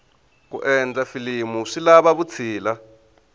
ku endla filimu swi lava vutshila